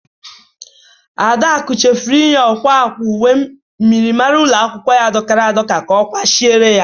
Adaku chefụrụ inye ọkwa akwa uwe myịrịmara ụlọ akwụkwọ ya dọkara adọka ka ọ kwachire ya.